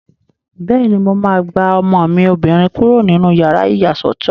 Bẹ́ẹ̀ni, mo máa gba ọmọ mi obìnrin kúrò nínú yàrá ìyàsọ́tọ̀